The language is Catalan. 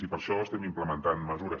i per això estem implementant mesures